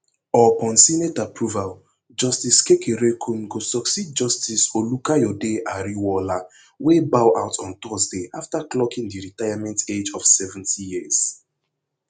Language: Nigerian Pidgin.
upon senate approval justice kekereekun go succeed justice olukayode ariwoola wey bow out on thursday after clocking di retirement age of seventy years